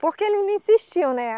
Por que eles não insistiam, né?